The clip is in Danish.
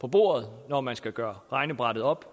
på bordet når man skal gøre regnebrættet op